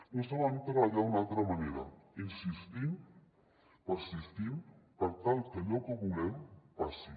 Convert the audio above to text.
no sabem treballar d’una altra manera insistint persistint per tal que allò que volem passi